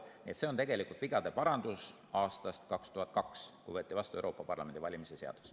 Nii et see on iseenesest vigade parandus sellele, kui aastal 2002 võeti vastu Euroopa Parlamendi valimise seadus.